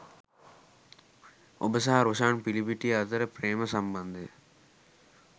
ඔබ සහ රොෂාන් පිලපිටිය අතර ප්‍රේම සම්බන්ධය